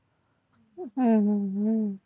હમ